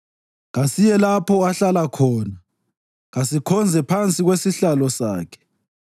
“Kasiye lapho ahlala khona; kasikhonze phansi kwesihlalo sakhe.